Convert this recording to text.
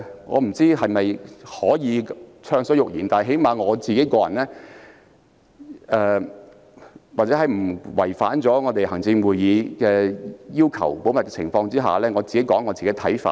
我不知道能否暢所欲言，但至少就個人而言，或在不違反行政會議保密要求的前提下，我想提出自己的看法。